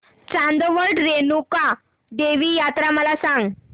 चांदवड रेणुका देवी यात्रा मला सांग